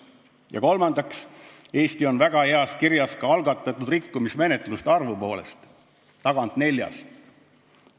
Ja kolmandaks, Eesti on väga heas kirjas ka algatatud rikkumismenetluste arvu poolest: tagant neljas.